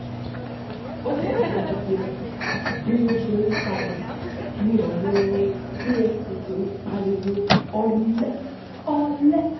ó tẹ̀síwájú pé bí wọ́n ṣe ń sá lọ ni àwọn efcc ń pariwo ọ̀lẹ ọ̀lẹ